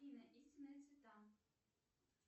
афина истинные цвета